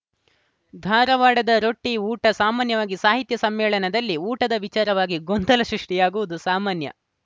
ಧಾರವಾಡದ ರೊಟ್ಟಿಊಟ ಸಾಮಾನ್ಯವಾಗಿ ಸಾಹಿತ್ಯ ಸಮ್ಮೇಳನದಲ್ಲಿ ಊಟದ ವಿಚಾರವಾಗಿ ಗೊಂದಲ ಸೃಷ್ಟಿಯಾಗುವುದು ಸಾಮಾನ್ಯ